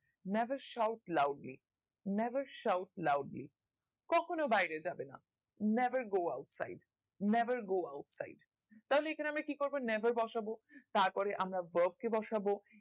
never side loudly never side loudly কখনো বাইরে যাবে না never go outside never go outside তাহলে এখানে আমরা কি করবো never বসাবো তার পরে আমরা বসাবো